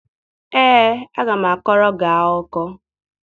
Ee, aga m akọrọ gị akụkọ.